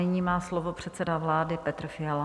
Nyní má slovo předseda vlády Petr Fiala.